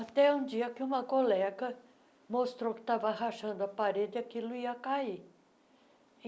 Até um dia que uma colega mostrou que estava rachando a parede e aquilo ia cair.